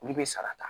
Olu bɛ sara ta